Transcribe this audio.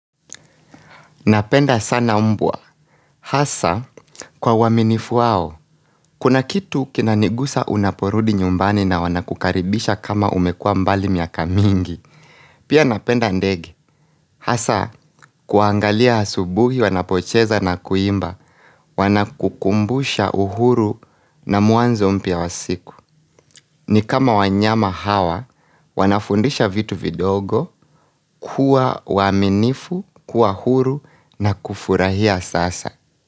Napenda sana mbwa hasa kwa uaminifu wao, kuna kitu kinanigusa unaporudi nyumbani na wanakukaribisha kama umekua mbali miaka mingi Pia napenda ndege, hasa kuangalia asubuhi wanapocheza na kuimba, wanakukumbusha uhuru na mwanzo mpya wasiku ni kama wanyama hawa, wanafundisha vitu vidogo, kuwa waaminifu, kuwa huru na kufurahia sasa.